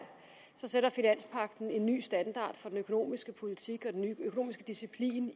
sætter en ny standard for den økonomiske politik og den økonomiske disciplin